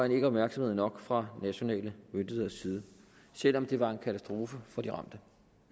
ikke opmærksomhed nok fra nationale myndigheders side selv om det var en katastrofe for de ramte